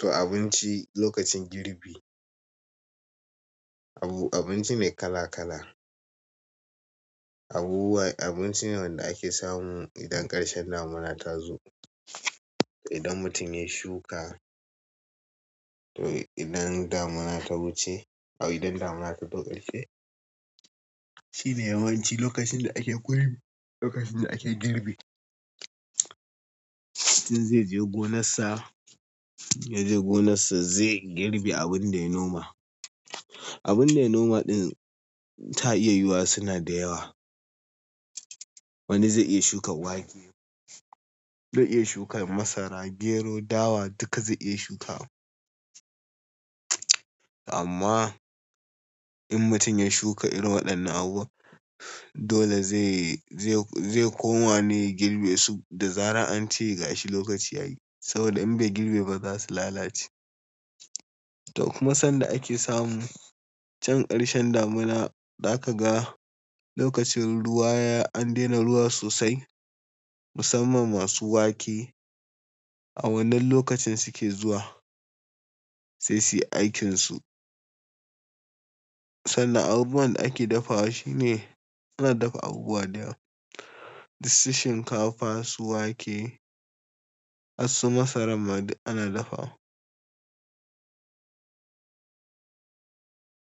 To abinci lokacin girbi. Ai abinci ne kala kala abubuwa-- abinci ne wanda ake samu idan ƙarshen damuna ta zo. Idan mutum ya shuka to idan damuna ta wuce, a'a idan damuna ta zo ƙarshe shine yawanci lokacin da ake kulbi, lokacin da ake girbi. Mutum zai je gonarsa, ya je gonarsa zai girbe abin da ya noma. Abin da ya noma ɗin ta iya yiwuwa suna da yawa. Wani zai iya shuka wake, wani zai iya shuka masara, gero, dawa duka zai iya shuka. Amma in mutum ya shuka irin waɗannan abubuwa, dole zai, zai koma ne girbe su da zarar an ce gashi lokaci ya yi. Saboda in bai girbe ba za su lalace. To kuma sanda ake samu can ƙarshen damuna, za ka ga lokacin ruwa ya-- an daina ruwa sosai musamman masu wake a wannan lokacin suke zuwa sai su yi aikinsu. Sannan abubuwan da ake dafawa shi ne ana dafa abubuwa da yawa. Dus, shinkafa, su wake, harsu, masaran ma ana dafawa.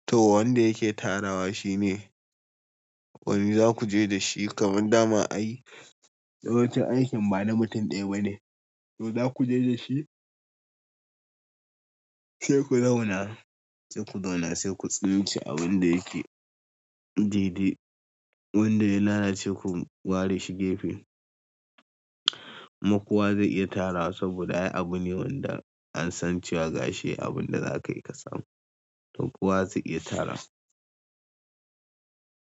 To wanda yake tarawa shi ne wane za ku je da shi kamar daman ayi yawancin aikin ba na mutum ɗaya ba ne. To za ku je da shi sai ku zauna, sai ku zauna sai ku tsince abin da yake didi. Wanda ya lalace ku ware shi gefe. Makuwa zai iya tarawa saboda ai abu ne wanda an san cewa gashi abun da za kayi ka samu. To kuwa zai iya tara.